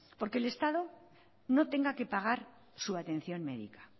para que el estado no tenga que pagar su atención médica